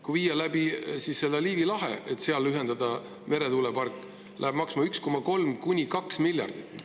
Kui rajada ühendus läbi Liivi lahe, et see ühendada meretuulepargiga, siis läheb see maksma 1,3–2 miljardit.